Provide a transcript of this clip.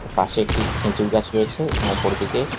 পাশে একটি খেজুর গাছ রয়েছে এবং উপরের দিকে--